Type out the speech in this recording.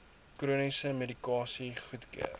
chroniese medikasie goedkeur